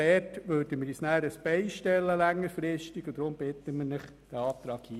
Wir würden uns auch in diesem Bereich längerfristig ein Bein stellen.